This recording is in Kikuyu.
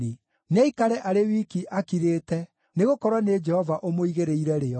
Nĩaikare arĩ wiki akirĩte, nĩgũkorwo nĩ Jehova ũmũigĩrĩire rĩo.